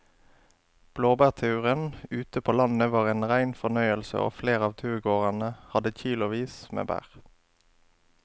Blåbærturen ute på landet var en rein fornøyelse og flere av turgåerene hadde kilosvis med bær.